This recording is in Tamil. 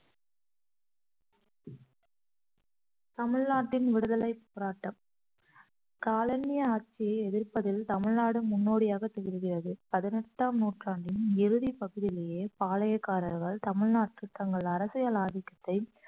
தமிழ்நாட்டின் விடுதலைப் போராட்டம் காலனி ஆட்சியை எதிர்ப்பதில் தமிழ்நாடு முன்னோடியாகத் திகழ்கிறது பதினெட்டாம் நூற்றாண்டின் இறுதிப் பகுதியிலேயே பாளையக்காரர்கள் தமிழ்நாட்டில் தங்கள் அரசியல் ஆதிக்கத்தை